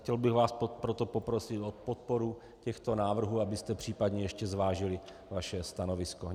Chtěl bych vás proto poprosit o podporu těchto návrhů, abyste případně ještě zvážili svoje stanovisko.